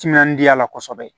Timinandiya la kosɛbɛ